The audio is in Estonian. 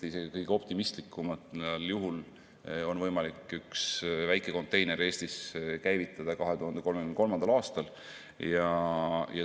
Isegi kõige optimistlikumal juhul on võimalik üks väike konteiner Eestis käivitada 2033. aastal.